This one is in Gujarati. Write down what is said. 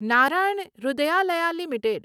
નારાયણ હૃદયાલય લિમિટેડ